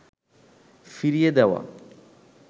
ফিরিয়ে দেওয়া